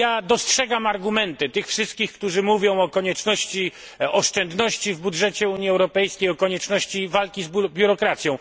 Dostrzegam argumenty tych wszystkich, którzy mówią o konieczności oszczędności w budżecie Unii Europejskiej, o konieczności walki z biurokracją.